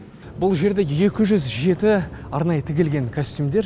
бұл жерде екі жүз жеті арнайы тігілген костюмдер